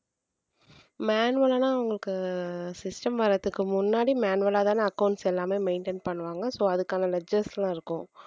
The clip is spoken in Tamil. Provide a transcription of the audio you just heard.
manual ஆ உங்களுக்கு system வர்றதுக்கு முன்னாடி manual ஆதானே accounts எல்லாமே maintain பண்ணுவாங்க so அதுக்கான ledges எல்லாம் இருக்கும்